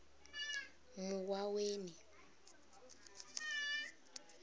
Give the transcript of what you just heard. muwaweni